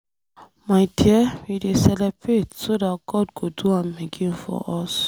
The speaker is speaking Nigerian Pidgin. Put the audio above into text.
My dear we dey celebrate so dat God go do am again for us